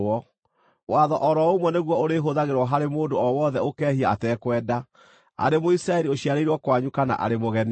Watho o ro ũmwe nĩguo ũrĩhũthagĩrwo harĩ mũndũ o wothe ũkehia atekwenda, arĩ Mũisiraeli ũciarĩirwo kwanyu kana arĩ mũgeni.